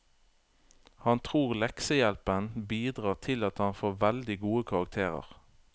Han tror leksehjelpen bidrar til at han får veldig gode karakterer.